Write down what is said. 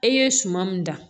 E ye suman min dan